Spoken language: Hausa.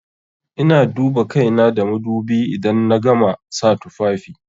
Ina duba kaina da madubi idan na gama sa tufafi.